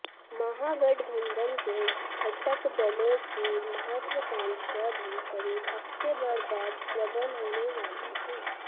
महागठबंधन के घटक दलों की महत्वाकांक्षा भी करीब हफ्तेभर बाद प्रबल होने वाली है